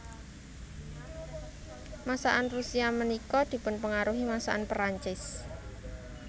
Masakan Rusia ménika dipunpengaruhi masakan Perancis